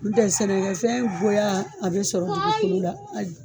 Ntɛ sɛnɛkɛfɛn goya a bɛ sɔrɔ dugukolo de la.